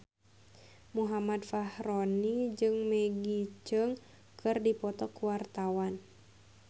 Muhammad Fachroni jeung Maggie Cheung keur dipoto ku wartawan